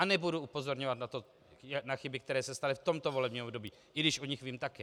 A nebudu upozorňovat na chyby, které se staly v tomto volebním období, i když o nich vím také.